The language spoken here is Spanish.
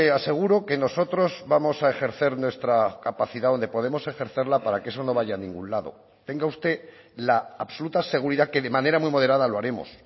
aseguro que nosotros vamos a ejercer nuestra capacidad donde podemos ejercerla para que eso no vaya a ningún lado tenga usted la absoluta seguridad que de manera muy moderada lo haremos